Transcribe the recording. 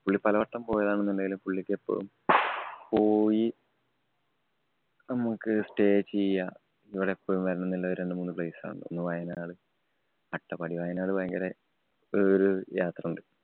പുള്ളി പലവട്ടം പോയതാണെങ്കിലും പുള്ളിക്ക് എപ്പോഴും പോയി നമുക്ക് stay ചെയ്യാം. ഇവിടെ എപ്പോഴും വരണമെന്നുള്ള രണ്ടു മൂന്ന് place ആണ്. ഒന്ന് വയനാട്, അട്ടപ്പാടി. വയനാട് ഭയങ്കര ഒരു ഒരു യാത്രണ്ട്.